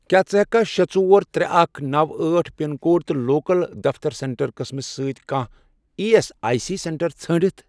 کیٛاہ ژٕ ہیٚککھا شے، ژور، ترے، اکھ، نوَ، أٹھ، پِن کوڈ تہٕ لوکَل دفتر سینٹر قٕسمس سۭتۍ کانٛہہ E S I C centre ژھٲرِتھ؟